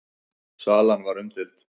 Salan var umdeild.